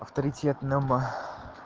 авторитетном